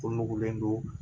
Ko nugulen don